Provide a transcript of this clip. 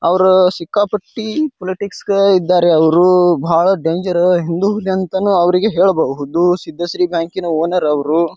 ಅವ್ರ ಸಿಕ್ಕಾಪಟ್ಟಿ ಪೊಲಿಟಿಕ್ಸ್ ಗ ಇದ್ದಾರೆ ಅವ್ರು ಬಹಳ ಡೇಂಜರ್ ಹಿಂದೂ ದೆಂತನು ಅವ್ರಿಗೆ ಹೇಳಬಹುದು ಸಿದ್ದಶ್ರೀ ಬ್ಯಾಂಕಿನ ಓನರ್ ಅವ್ರು.